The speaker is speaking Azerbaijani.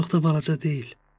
Çox da balaca deyil.